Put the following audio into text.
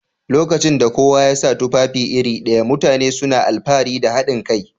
Lokacin da kowa ya sa tufafi iri ɗaya, mutane suna alfahari da haɗin kai